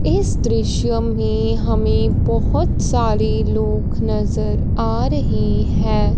इस दृश्य में हमे बहोत सारे लोग नजर आ रहे है।